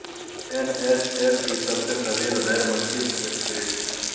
N H L کی سب سے طویل غیر ملکی سٹریٹ